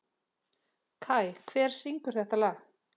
Kai, hver syngur þetta lag?